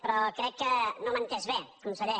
però crec que no m’ha entès bé conseller